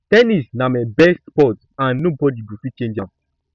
ten nis na my best sport and nobody go fit change am